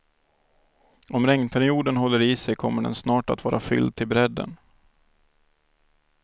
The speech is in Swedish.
Om regnperioden håller i sig kommer den snart att vara fylld till brädden.